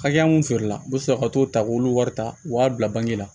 Hakɛya mun feere la n bɛ sɔrɔ ka t'o ta k'olu wari ta u b'a bila bange la